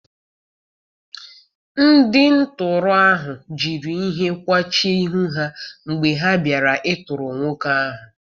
Ndị tọọrọ ahụ jiri ihe kwachie ihu ha mgbe ha bịara ịtọrọ nwoke ahụ.